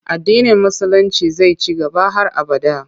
Addinin Musulinci zai ci gaba har abada.